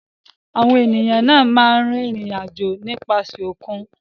Àwọn ènìyàn náà máa ń rìnrìn-àjò nípasẹ̀ òkun.